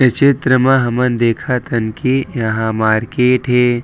ये चित्र मा हमन देखत हन की यहाँ मारकेट हे।